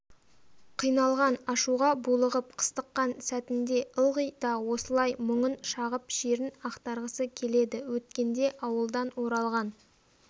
қиналған ашуға булығып қыстыққан сәтінде ылғи да осылай мұңын шағып шерін ақтарғысы келеді өткенде ауылдан оралған